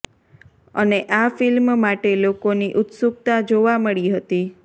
અને આ ફિલ્મ માટે લોકોની ઉત્સુકતા જોવા મળી હતી